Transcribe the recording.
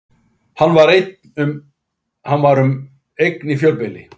Hann var um eign í fjölbýli